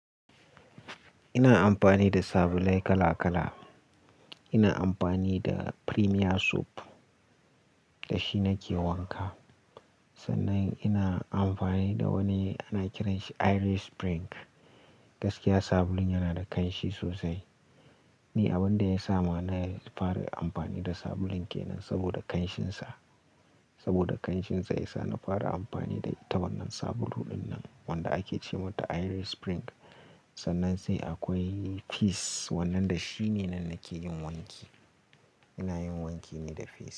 Ina amfani da sabulai kala kala. Ina amfani da Premier Soup da shi nake wanka. Sannan ina amfani da wani ana kiranshi Irish Spring. Gaskiya sabulun yana da ƙanshi sosai. Ni abin da ya sa ma na fara amfani da sabulun kenan saboda ƙanshinsa. Saboda ƙanshinsa ya sa na fara amfani da ita wannan sabulu dinnan wanda ake ce mata Irish Spring. Sannan sai akwai Peace wannan da shine nan nake yin wanki. Ina yin wanki ne da Peace.